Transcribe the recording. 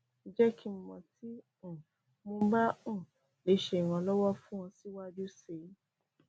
jẹ ki n mọ ti um mo ba um le ṣe iranlọwọ fun ọ siwaju sii